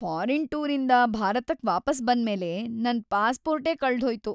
Foreign ಟೂರಿಂದ ಭಾರತಕ್ ವಾಪಸ್‌ ಬಂದ್ಮೇಲೆ ನನ್ ಪಾಸ್ಪೋರ್ಟೇ ಕಳ್ದ್‌ಹೋಯ್ತು.